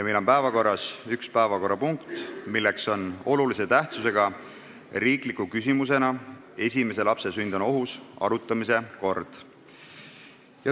Meil on päevakorras üks päevakorrapunkt, olulise tähtsusega riiklik küsimus "Kas esimese lapse sünd on ohus?".